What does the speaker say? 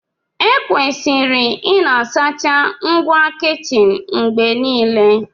Ekwesịrị ịna-asacha ngwa kichin mgbe niile